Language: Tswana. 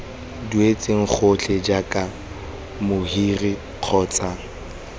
duetsweng gotlhe jaaka mohiri kgotsa